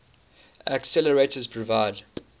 accelerators provide